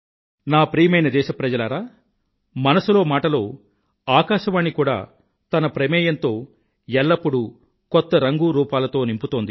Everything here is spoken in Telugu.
నా ప్రియమైన దేశ ప్రజలారా మనసులో మాట లో ఆకాశవాణి కూడా తన ప్రమేయంతో ఎల్లప్పుడూ కొత్త రంగు రూపాలను నింపుతోంది